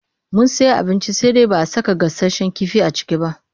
Mun sayi abinci sai dai ba a saka gasasshen kifi a ciki ba.